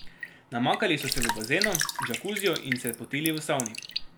Namakali so se v bazenu, džakuziju in se potili v savni.